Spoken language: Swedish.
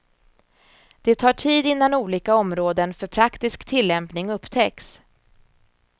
Det tar tid innan olika områden för praktisk tillämpning upptäcks.